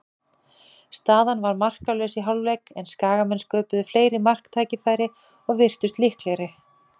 Staðan var markalaus í hálfleik, en Skagamenn sköpuðu fleiri marktækifæri og virtust líklegri.